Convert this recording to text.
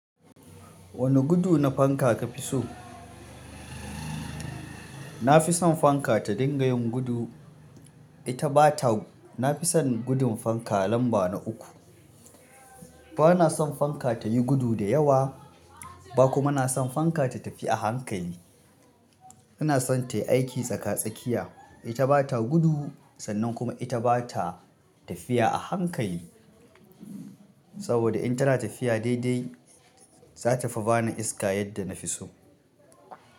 Wani gudu na fanka ka fi so? Na fi son fanka ta dinga yin gudu ita ba ta. Na fi son gudun fanka lamba na uku. Ba na son fanka ta yi gudu da yawa ba kuma na son fanka ta tafi a hankali. Ina son ta yi aiki tsaka tsakiya, ita ba ta gudu sannan kuma ita ba ta tafiya a hankali. Saboda in tana tafiya daidai, za ta fi ba ni iska yadda na fi so.